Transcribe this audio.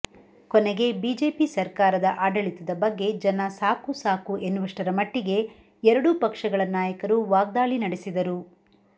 ಕೊನೆಗೆ ಬಿಜೆಪಿ ಸರ್ಕಾರದ ಆಡಳಿತದ ಬಗ್ಗೆ ಜನ ಸಾಕು ಸಾಕು ಎನ್ನುವಷ್ಟರ ಮಟ್ಟಿಗೆ ಎರಡೂ ಪಕ್ಷಗಳ ನಾಯಕರು ವಾಗ್ದಾಳಿ ನಡೆಸಿದರು